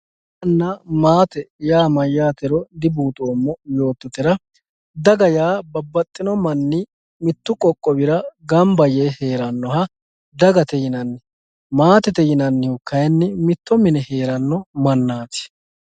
daganna maate mayyatero dibuuxoommo yoottotera, daga yaa babbaxxino manni mittu qoqqowira gamba yee hee'rannoha dagate yinanni, maatete yinannihu kayiinni mitto mine hee'ranno mannaati.